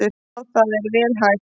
Já það er vel hægt.